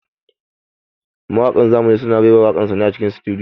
Mawaƙan zamani suna raira waƙar su ne a cikin sutudiyo.